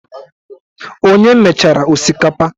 Onye mechara osikapa?